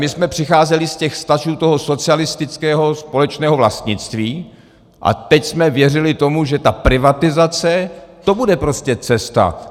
My jsme přicházeli z těch vztahů toho socialistického společného vlastnictví a teď jsme věřili tomu, že ta privatizace, to bude prostě cesta.